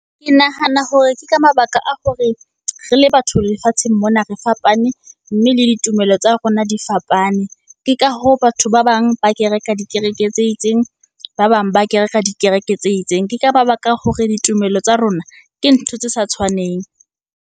Ke nahana hore ke ka mabaka a hore re le batho lefatsheng mona re fapane, mme le ditumelo tsa rona di fapane. Ke ka hoo batho ba bang ba kereka dikereke tse itseng, ba bang ba kereka dikereke tse itseng. Ke ka mabaka a hore ditumelo tsa rona ke ntho tse sa tshwaneng.